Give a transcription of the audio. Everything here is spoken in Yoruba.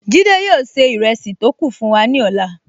Jide yóò ṣe ìrẹsì tó kù fún wa ní ọ̀la